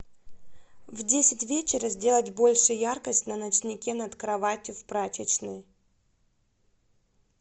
в десять вечера сделать больше яркость на ночнике над кроватью в прачечной